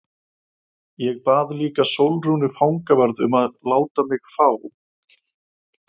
Ég bað líka Sólrúnu fangavörð um að láta mig fá